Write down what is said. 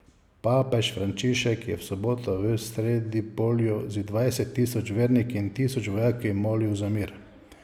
Papež Frančišek je v soboto v Sredipolju z dvajset tisoč verniki in tisoč vojaki molil za mir.